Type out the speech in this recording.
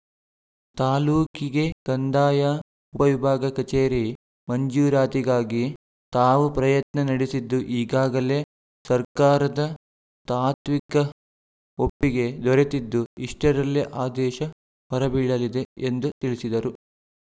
ತಾಲೂಕಿಗೆ ಕಂದಾಯ ಉಪವಿಭಾಗ ಕಚೇರಿ ಮಂಜೂರಾತಿಗಾಗಿ ತಾವು ಪ್ರಯತ್ನ ನಡೆಸಿದ್ದು ಈಗಾಗಲೇ ಸರ್ಕಾರದ ತಾತ್ವಿಕ ಒಪ್ಪಿಗೆ ದೊರೆತಿದ್ದು ಇಷ್ಟರಲ್ಲೇ ಆದೇಶ ಹೊರಬೀಳಲಿದೆ ಎಂದು ತಿಳಿಸಿದರು